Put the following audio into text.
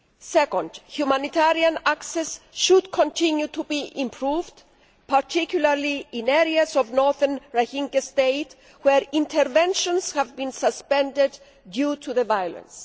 Second, humanitarian access should continue to be improved, particularly in areas of northern Rakhine State where interventions have been suspended due to the violence.